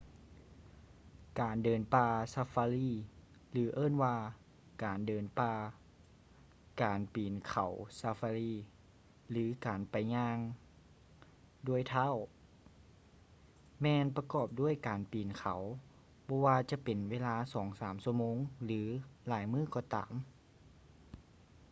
ການເດີນປ່າຊາຟາຣີ ຫຼື ເອີ້ນວ່າ ການເດີນປ່າ” ການປີນເຂົາຊາຟາຣີ” ຫຼື ການໄປ ຍ່າງດ້ວຍເທົ້າ” ແມ່ນປະກອບດ້ວຍການປີນເຂົາ ບໍ່ວ່າຈະເປັນເວລາສອງສາມຊົ່ວໂມງ ຫຼື ຫຼາຍມື້ກໍຕາມ